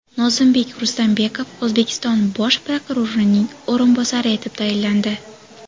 Nozimbek Rustambekov O‘zbekiston Bosh prokurorining o‘rinbosari etib tayinlandi.